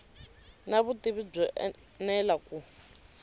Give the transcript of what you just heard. na vutivi byo enela ku